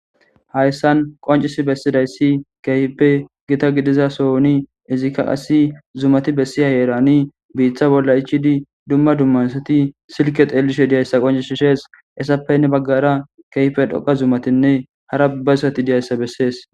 Hayssan qoncis bessidayssi keyfpe gita gidiza sooni izikka asi zumati bessiya yeerani biiththa bolla ichidi dumma dummaysati silke teelishe diyayssa qoncishi shees issappenne baggara kehpe dhoqa zumatinne hara bazsati diyayssa bessees.